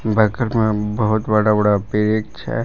बैक्ट में बहुत बड़ा बड़ा पेच है।